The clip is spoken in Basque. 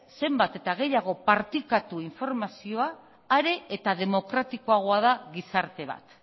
zenbat eta gehiago partekatu informazioa are eta demokratikoagoa da gizarte bat